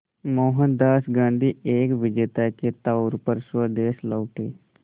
मोहनदास गांधी एक विजेता के तौर पर स्वदेश लौटे